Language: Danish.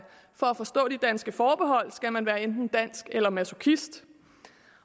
for at forstå de danske forbehold skal man være enten dansk eller masochist